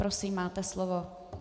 Prosím, máte slovo.